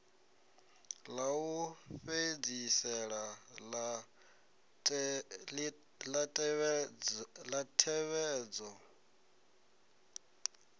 ḽa u fhedzisela ḽa ṋetshedzo